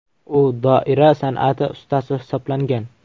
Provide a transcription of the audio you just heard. U doira san’ati ustasi hisoblangan.